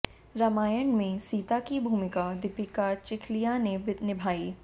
रामायण में सीता की भूमिका दीपिका चिखलिया ने निभाई